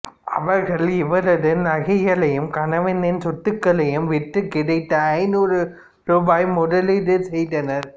அவர்கள் இவரது நகைகளையும் கணவனின் சொத்துக்களையும் விற்று கிடைத்த ஐநூறு ரூபாயை முதலீடு செய்தனர்